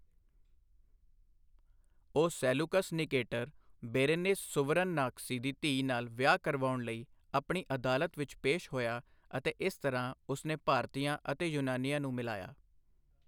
ਉਹ Seleucus Nicator, Berenice ਸੁਵਰਨਨਾਕਸੀ ਦੀ ਧੀ ਨਾਲ ਵਿਆਹ ਕਰਵਾਉਣ ਲਈ ਆਪਣੀ ਅਦਾਲਤ ਵਿੱਚ ਪੇਸ਼ ਹੋਇਆ ਅਤੇ ਇਸ ਤਰ੍ਹਾਂ, ਉਸਨੇ ਭਾਰਤੀਆਂ ਅਤੇ ਯੂਨਾਨੀਆਂ ਨੂੰ ਮਿਲਾਇਆ।